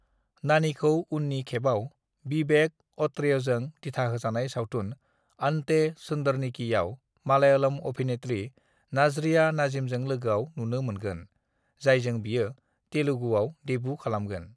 "नानीखौ उननि खेबाव विवेक अत्रेयजों दिथाहोजानाय सावथुन 'अंते सुंदरनिकी' आव मलयालम अभिनेत्री नाज़रिया नज़ीमजों लोगोआव नुनो मोनगोन, जायजों बियो तेलुगुआव देब्यु खालामगोन।"